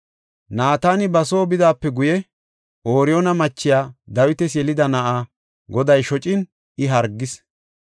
Naatani ba soo bidaape guye, Ooriyoona machiya Dawitas yelida na7aa Goday shocin I hargis.